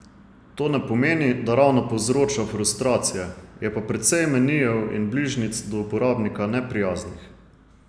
To ne pomeni, da ravno povzroča frustracije, je pa precej menijev in bližnjic do uporabnika neprijaznih.